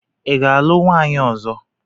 Ị ga-alụ nwaanyị ọzọ?